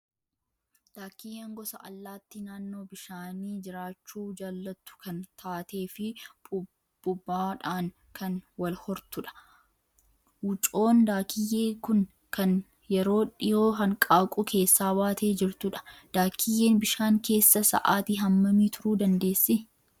Daakiyyeen gosa allaattii naannoo bishaanii jiraachuu jaallattu kan taatee fi puuphaadhaan kan wal hortudha. Wucoon daakiyyee kun kan yeroo dhiyoo hanqaaquu keessaa baatee jirtudha. Daakiyyeen bishaan keessa sa'aatii hammamii turuu dandeessi?